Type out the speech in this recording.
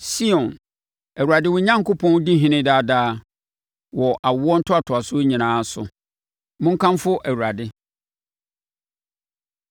Sion, Awurade wo Onyankopɔn di ɔhene daa daa, wɔ awoɔ ntoatoasoɔ nyinaa so. Monkamfo Awurade.